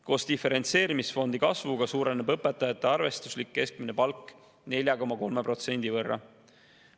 Koos diferentseerimisfondi kasvuga suureneb õpetajate arvestuslik keskmine palk 4,3% võrra.